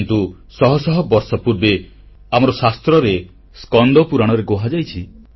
କିନ୍ତୁଶହ ଶହ ବର୍ଷ ପୂର୍ବେ ଆମର ଶାସ୍ତ୍ରରେ ସ୍କନ୍ଦ ପୁରାଣରେ କୁହାଯାଇଛି